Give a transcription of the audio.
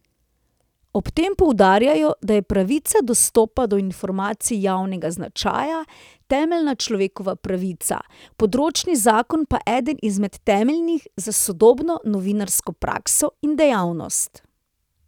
Ob tem poudarjajo, da je pravica dostopa do informacij javnega značaja temeljna človekova pravica, področni zakon pa eden izmed temeljnih za sodobno novinarsko prakso in dejavnost.